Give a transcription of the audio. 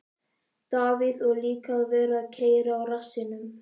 Davíð: Og líka að vera að keyra á rassinum.